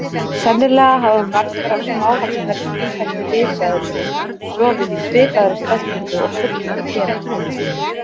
Sennilega hafa margar af smávaxnari tvífættu risaeðlunum sofið í svipaðri stellingu og fuglar gera.